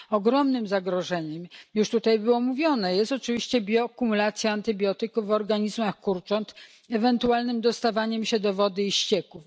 Ogromnym zagrożeniem już tutaj było mówione jest oczywiście biokumulacja antybiotyków w organizmach kurcząt i ewentualne dostawanie się do wody i ścieków.